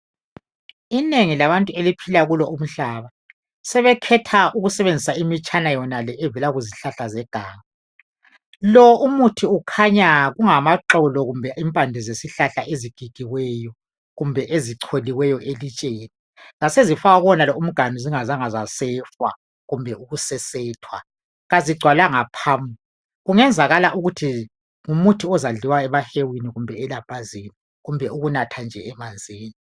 Inengi labantu eliphila kulo umhlaba sebekhetha ukusebenzisa imitshana yonale evele kuzihlahla zeganga lo umuthi kukhanya ungamaxolo kumbe impande zesihlahla ezigigiweyo kumbe ezicholiweyo elitsheni zasezifakwa kuwonalo umganu zingazange zasafer kumbe ukusesethwa kazingcwalanga phamu kungenzakala ukuthi ngumuthi ozadliwa emahewini kumbe elambazini kumbe ukunatha nje emanzini